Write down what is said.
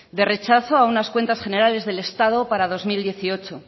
de rechazo a unas cuentas generales del estado para el dos mil dieciocho